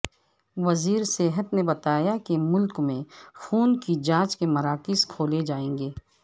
وزیر صحت نے بتایا کہ ملک میں خون کی جانچ کے مراکز کھولے جائیں گے